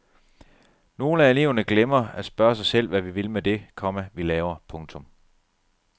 Nogle af eleverne glemmer at spørge sig selv hvad vi vil med det, komma vi laver. punktum